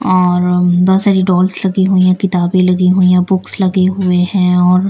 और बहुत सारी डॉल्स लगी हुई हैं किताबें लगी हुई हैं बुक्स लगे हुए हैं और--